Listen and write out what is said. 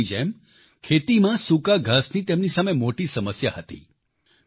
બીજા લોકોની જેમ ખેતીમાં સૂકા ઘાસની તેમની સામે મોટી સમસ્યા હતી